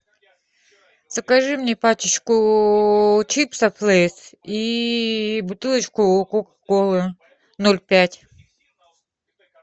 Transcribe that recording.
закажи мне пачечку чипсов лейс и бутылочку кока колы ноль пять